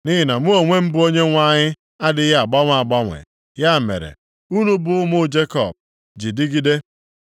“Nʼihi na mụ onwe m bụ Onyenwe anyị adịghị agbanwe agbanwe. Ya mere, unu bụ ụmụ Jekọb ji dịgide.